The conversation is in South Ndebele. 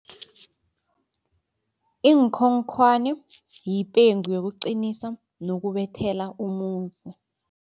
Iinkhonkhwani yipengu yokuqinisa nokubethelela umuzi.